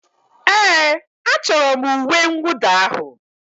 Ee, achọrọ m uwe mwụda ahụ.